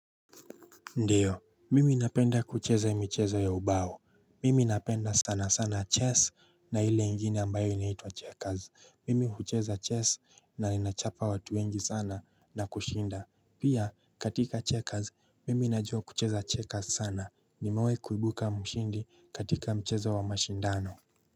Ndio, mimi napenda kucheza michezo ya ubao, mimi napenda sana sana chess na ile ingine ambayo inaitwa checkers, mimi hucheza chess na ninachapa watu wengi sana na kushinda, pia katika checkers mimi najua kucheza checkers sana, nimewahi kuibuka mshindi katika mchezo wa mashindano.